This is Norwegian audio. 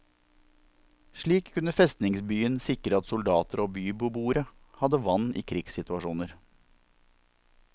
Slik kunne festningsbyen sikre at soldater og bybeboere hadde vann i krigssituasjoner.